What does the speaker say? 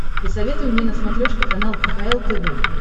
посоветуй мне на смотрешке канал кхл тв